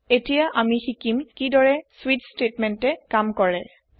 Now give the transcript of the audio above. এতিয়া আমি শিকিম কি দৰে স্বিচ স্টেতমেন্তে কাম কৰে